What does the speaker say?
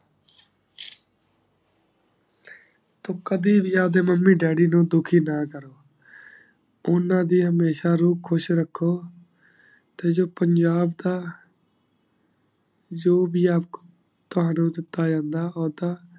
ਤੂ ਕਦੀ ਵੀ ਆਪ ਦੇ mummy daddy ਨੂ ਦੁਖੀ ਨਾ ਕਰੋ ਓਨਾ ਦੀ ਹਮੇਸ਼ਾ ਰੁ ਖੁਸ਼ ਰਖੋ ਤੇ ਜੇ ਪੰਜਾਬ ਦਾ ਜੋ ਬੀ ਆਪ ਕੋ ਤਾਵਾਦਾ ਓਤੇ ਪਾਯਾ ਜਾਂਦਾ ਹੋਦਾ